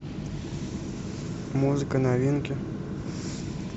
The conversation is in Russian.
музыка новинки